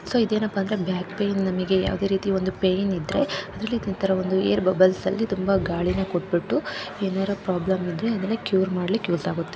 So ಇದೇನಪ್ಪ ಅಂದರೆ back pain ನಮಿಗೆ ಯಾವುದೇ ರೀತಿಯ ಒಂದು ಪೇಯಿನ್ ಇದ್ದರೆ ಅದ್ರಲ್ಲಿ ಏರ್‌ ಬಬಲ್ಸ್‌ ನಲ್ಲಿ ತುಂಬಾ ಗಾಳಿನ ಕೊಟ್ಟುಬಿಟ್ಟು ಏನಾದರೂ ಪ್ರಾಬ್ಲೆಂ ಇದ್ರೆ ಅದನ್ನ ಕ್ಯೂರ್‌ ಮಾಡಲಿಕ್ಕೆ ಯೂಸ್‌ ಆಗುತ್ತೆ.